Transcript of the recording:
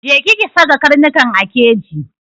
Je ki ki saka karnukan a keji!